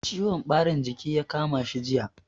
Ciwon ɓarin jiki ya kama shi jiya.